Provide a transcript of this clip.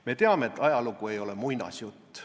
Me teame, et ajalugu ei ole muinasjutt.